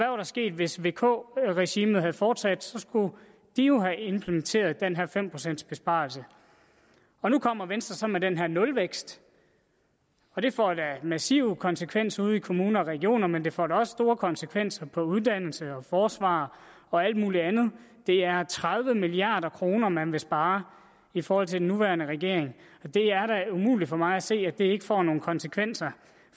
var der sket hvis vk regimet havde fortsat så skulle de jo have implementeret den her fem procents besparelse nu kommer venstre med den her nulvækst og det får da massive konsekvenser ude i kommuner og regioner men det får da også store konsekvenser for uddannelse og forsvar og alt mulig andet det er tredive milliard kr man vil spare i forhold til den nuværende regering og det er da umuligt for mig at se at det ikke får nogle konsekvenser